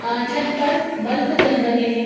अ छत पर बल्फ जल रहे हैं।